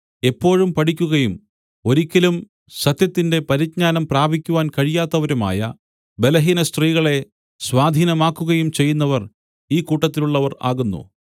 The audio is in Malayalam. എപ്പോഴും പഠിക്കുകയും ഒരിക്കലും സത്യത്തിന്റെ പരിജ്ഞാനം പ്രാപിക്കുവാൻ കഴിയാത്തവരുമായ ബലഹീനസ്ത്രീകളെ സ്വാധീനമാക്കുകയും ചെയ്യുന്നവർ ഈ കൂട്ടത്തിലുള്ളവർ ആകുന്നു